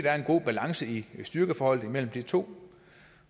er en god balance i styrkeforholdet imellem de to